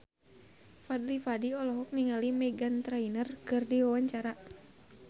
Fadly Padi olohok ningali Meghan Trainor keur diwawancara